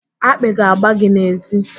Akpị ga-agba gị n'èzí.